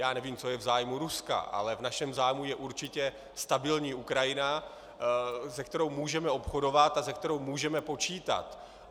Já nevím, co je v zájmu Ruska, ale v našem zájmu je určitě stabilní Ukrajina, se kterou můžeme obchodovat a se kterou můžeme počítat.